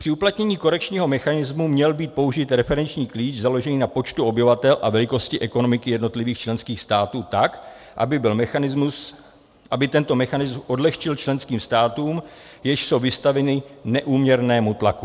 Při uplatnění korekčního mechanismu měl být použit referenční klíč založený na počtu obyvatel a velikosti ekonomiky jednotlivých členských států tak, aby tento mechanismus odlehčil členským státům, jež jsou vystaveny neúměrnému tlaku.